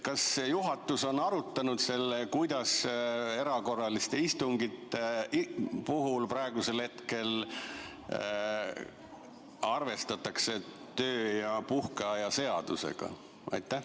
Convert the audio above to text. Kas juhatus on arutanud, kuidas erakorraliste istungite puhul praegusel hetkel arvestatakse töö- ja puhkeaja seadusega?